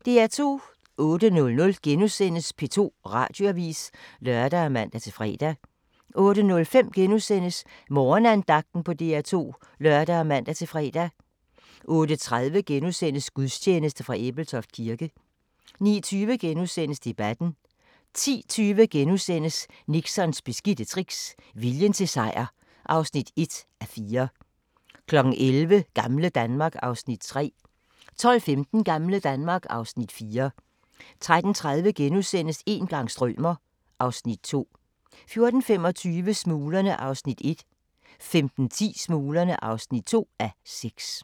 08:00: P2 Radioavis *(lør og man-fre) 08:05: Morgenandagten på DR2 *(lør og man-fre) 08:30: Gudstjeneste fra Ebeltoft Kirke * 09:20: Debatten * 10:20: Nixons beskidte tricks – viljen til sejr (1:4)* 11:00: Gamle Danmark (Afs. 3) 12:15: Gamle Danmark (Afs. 4) 13:30: Een gang strømer... (Afs. 2)* 14:25: Smuglerne (1:6) 15:10: Smuglerne (2:6)